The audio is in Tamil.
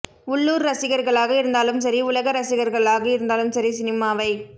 உள்ளூர் ரசிகர்களாக இருந்தாலும் சரி உலக ரசிகர்களாக இருந்தாலும் சரி சினிமாவைப்